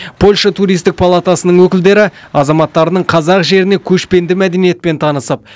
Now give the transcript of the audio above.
польша туристік палатасының өкілдері азаматтарының қазақ жеріне көшпенді мәдениетпен танысып